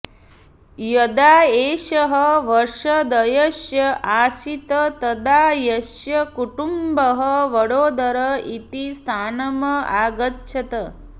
यदा एषः वर्षद्वयस्य आसीत् तदा अस्य कुटुम्बः वडोदर इति स्थानम् आगच्छत्